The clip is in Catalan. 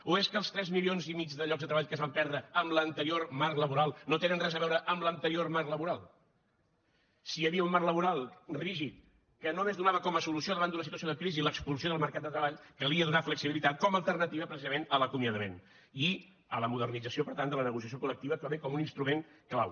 o és que els tres milions i mig de llocs de treball que es van perdre amb l’anterior marc laboral no tenen res a veure amb l’anterior marc laboral si hi havia un marc laboral rígid que només donava com a solució davant d’una situació de crisi l’expulsió del mercat de treball calia donar flexibilitat com a alternativa precisament a l’acomiadament i a la modernització per tant de la negociació col·lectiva també com un instrument clau